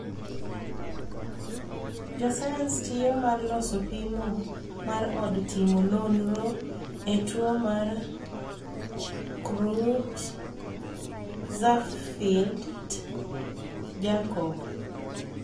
jo sayans tiyo mar loso pimo mar od timo nonro ne tuo mar Creutzfeldt Jakob